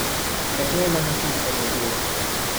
Preklemano hiter je bil.